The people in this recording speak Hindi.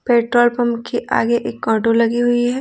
पेट्रोल पंप के आगे एक आटो लगी हुई है।